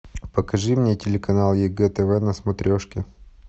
покажи мне телеканал егэ тв на смотрешке